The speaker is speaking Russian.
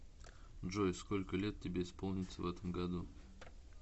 джой сколько лет тебе исполнится в этом году